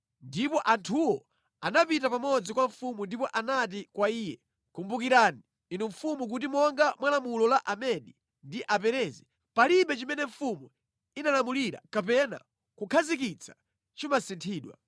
Ndipo anthuwo anapita pamodzi kwa mfumu ndipo anati kwa iye, “Kumbukirani, inu mfumu kuti monga mwa lamulo la Amedi ndi Aperezi, palibe chimene mfumu inalamulira kapena kukhazikitsa chimasinthidwa.”